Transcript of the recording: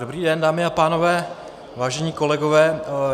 Dobrý den, dámy a pánové, vážení kolegové.